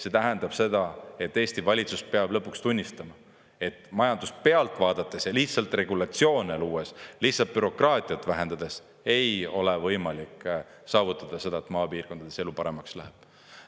See tähendab seda, et Eesti valitsus peab lõpuks tunnistama, et majandust pealt vaadates ja lihtsalt regulatsioone luues, lihtsalt bürokraatiat vähendades ei ole võimalik saavutada seda, et maapiirkondades elu paremaks läheb.